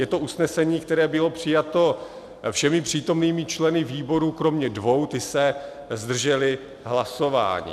Je to usnesení, které bylo přijato všemi přítomnými členy výboru kromě dvou, ti se zdrželi hlasování.